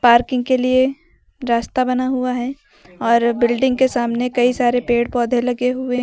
Parking के लिए रास्ता बना हुआ है और बिल्डिंग के सामने कई सारे पेड़ पौधे लगे हुए हैं।